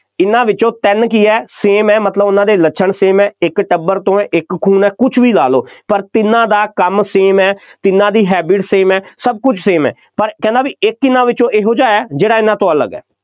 ਇਹਨਾ ਵਿੱਚ ਤਿੰਨ ਕੀ ਹੈ, same ਹੈ, ਮਤਲਬ ਉਹਨਾ ਦੇ ਲੱਛਣ same ਹੈ, ਇੱਕ ਟੱਬਰ ਤੋਂ ਇੱਕ ਖੂਨ ਹੈ, ਕੁੱਝ ਵੀ ਲਾ ਲਓ, ਪਰ ਤਿੰਨਾਂ ਦਾ ਕੰਮ same ਹੈ, ਤਿੰਨਾਂ ਦੀ habbit same ਹੈ, ਸਭ ਕੁੱਝ same ਹੈ, ਪਰ ਕਹਿੰਦਾ ਬਈ ਇੱਕ ਇਹਨਾ ਵਿੱਚੋਂ ਇਹੋ ਜਿਹਾ ਹੈ, ਜਿਹੜਾ ਇਹਨਾ ਤੋਂ ਅਲੱਗ ਹੈ,